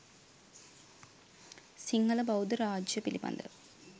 සිංහල බෞද්ධ රාජ්‍යය පිළිබඳ